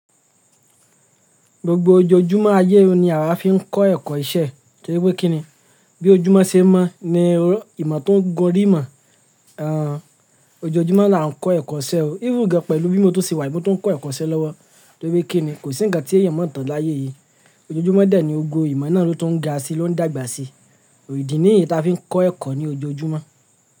Gbogbo ojoojúmọ́ ayé ni àwa fi ń kọ́ ẹ̀kọ́ iṣẹ́ torí pé kí ni? Bí ojúmọ́ ṣe mọ́ ni ìmọ̀ tun gun orí imọ̀. Ẹn, ojoojúmọ́ la ń kọ́ ẹ̀kọ́ iṣẹ́ o. Even gan pẹ̀lú bí mo tun ṣe wà yii, mo tún ń kọ́ ẹ̀kọ́ iṣẹ́ lọ́wọ́ torí pé kí ni kò sí ǹkan tí èèyàn máa tàn láyé yìí. Ojoojúmọ́ de ni gbogbo ìmọ̀ náà tún ń ga sí ló ń dàgbà sí. Idi niyii ta fi ń kọ́ ẹ̀kọ́ ní ojoojúmọ́.